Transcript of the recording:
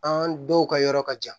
An dɔw ka yɔrɔ ka jan